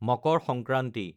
Makar Sankranti